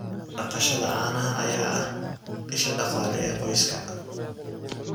Dhaqashada caanaha ayaa ah isha dhaqaale ee qoyska.